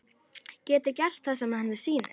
Geti gert það sem henni sýnist.